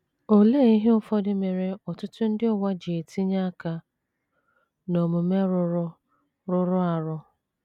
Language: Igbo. Olee ihe ụfọdụ mere ọtụtụ ndị n’ụwa ji etinye aka n’omume rụrụ rụrụ arụ?